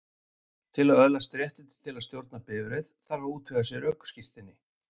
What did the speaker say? Til að öðlast réttindi til að stjórna bifreið þarf að útvega sér ökuskírteini.